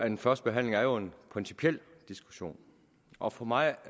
en førstebehandling er jo en principiel diskussion og for mig